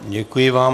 Děkuji vám.